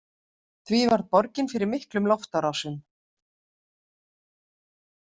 Því varð borgin fyrir miklum loftárásum.